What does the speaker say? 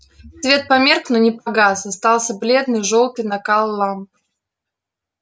свет померк но не погас остался бледный жёлтый накал ламп